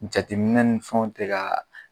Jateminɛ ni fɛnw te kaa